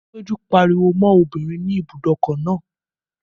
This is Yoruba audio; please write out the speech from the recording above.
Péjú pariwo mọ́ obìnrin ní ibùdókọ̀ náà